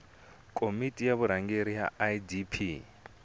komiti ya vurhangeri ya idp